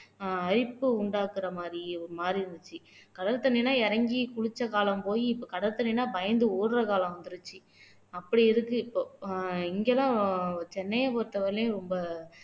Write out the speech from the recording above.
அரிப்பு உண்டாக்குற மாதிரி ஒரு மாதிரி இருந்துச்சு கடல் தண்ணி எல்லாம் இறங்கி குளிச்ச காலம் போயி இப்போ கதசடைன்னா பயந்து ஓடுற காலம் வந்திடுச்சு அப்படி இருக்கு இப்போ இங்கதான் சென்னையை பொறுத்தவரையிலும் ரொம்ப